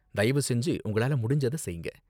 தயவு செஞ்சு உங்களால முடிஞ்சத செய்ங்க.